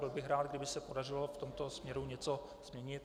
Byl bych rád, kdyby se podařilo v tomto směru něco změnit.